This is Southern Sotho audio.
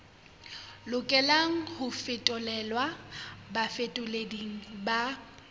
lokelang ho fetolelwa bafetoleding ba